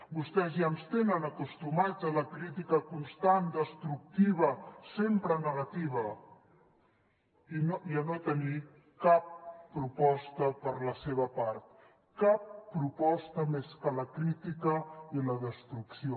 vostès ja ens tenen acostumats a la crítica constant destructiva sempre negativa i a no tenir cap proposta per la seva part cap proposta més que la crítica i la destrucció